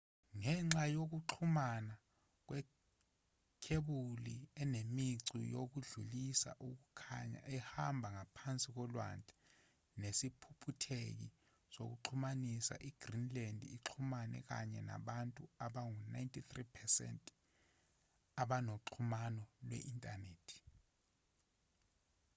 ngenxa yokuxhumana kwekhebuli enemicu yokudlulisa ukukhaya ehamba ngaphansi kolwandle nesiphuphutheki sokuxhumanisa i-greenland uxhumene kahle nabantu abangu-93% abanoxhumano lwe-inthanethi